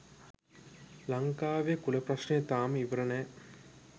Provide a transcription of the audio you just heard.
ලංකාවෙ කුල ප්‍රශ්නය තාම ඉවර නෑ